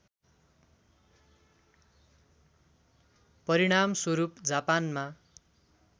परिणामस्वरूप जापानमा